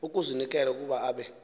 ukuzinikela ukuba abe